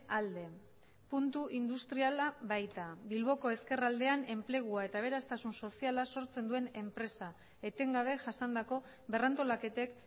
alde puntu industriala baita bilboko ezkerraldean enplegua eta aberastasun soziala sortzen duen enpresa etengabe jasandako berrantolaketek